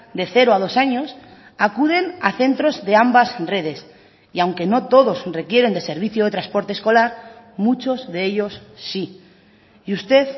de cero a dos años acuden a centros de ambas redes y aunque no todos requieren de servicio de transporte escolar muchos de ellos sí y usted